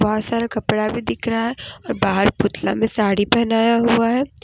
और सारा कपड़ा भी दिख रहा है और बाहर पुतला में साड़ी पहनाया हुआ है।